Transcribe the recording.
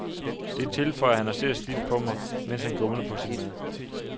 Det tilføjer han og ser stift på mig, mens han gumler på sin mad.